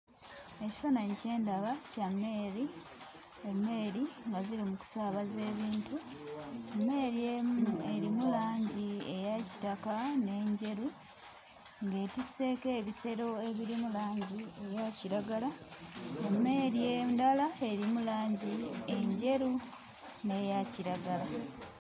Ekifaananyi kye ndaba kya mmeeri. Emmeeri nga ziri mu kusaabaza ebintu. Emmeeri emu erimu langi eya kitaka n'enjeru, ng'etisseeko ebisero ebirimu langi eya kiragala. Emmeeri endala erimu langi enjeru n'eya kiragala.